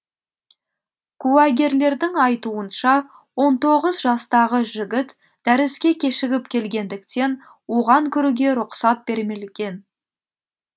куәгерлердің айтуынша он тоғыз жастағы жігіт дәріске кешігіп келгендіктен оған кіруге рұқсат берілмген